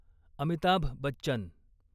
Amitabh Bachchan